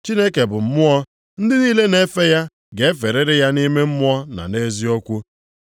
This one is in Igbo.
Chineke bụ mmụọ ndị niile na-efe ya ga-eferịrị ya nʼime mmụọ na eziokwu.”